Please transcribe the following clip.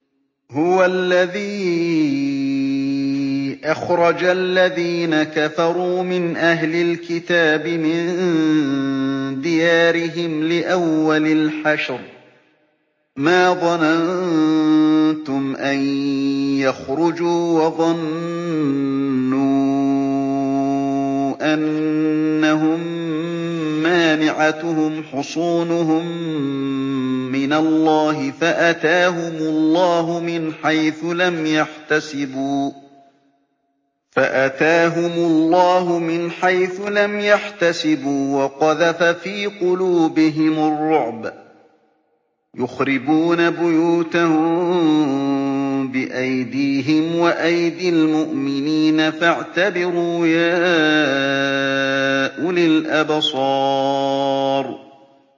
هُوَ الَّذِي أَخْرَجَ الَّذِينَ كَفَرُوا مِنْ أَهْلِ الْكِتَابِ مِن دِيَارِهِمْ لِأَوَّلِ الْحَشْرِ ۚ مَا ظَنَنتُمْ أَن يَخْرُجُوا ۖ وَظَنُّوا أَنَّهُم مَّانِعَتُهُمْ حُصُونُهُم مِّنَ اللَّهِ فَأَتَاهُمُ اللَّهُ مِنْ حَيْثُ لَمْ يَحْتَسِبُوا ۖ وَقَذَفَ فِي قُلُوبِهِمُ الرُّعْبَ ۚ يُخْرِبُونَ بُيُوتَهُم بِأَيْدِيهِمْ وَأَيْدِي الْمُؤْمِنِينَ فَاعْتَبِرُوا يَا أُولِي الْأَبْصَارِ